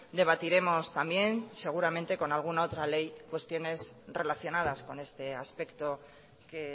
debatiremos también seguramente con alguna otra ley cuestiones relacionadas con este aspecto que